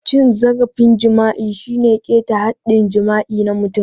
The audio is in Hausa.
Cin zarafin jima'i shine ƙeta haɗɗin jima'i na mutum.